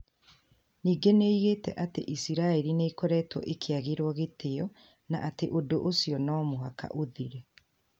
Ningĩ nĩ oigĩte atĩ Iciraĩri nĩ ĩkoretwo ĩkĩagĩrwo gĩtĩo na atĩ ũndũ ũcio no mũhaka ũthire.